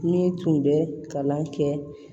Ne tun bɛ kalan kɛ